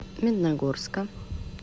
медногорска